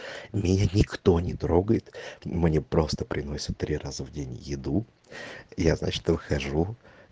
меня никто не трогает мне просто приносят три раза в день еду я значит выхожу